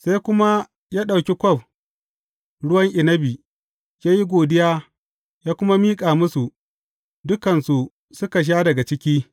Sai kuma ya ɗauki kwaf ruwan inabi, ya yi godiya, ya kuma miƙa musu, dukansu suka sha daga ciki.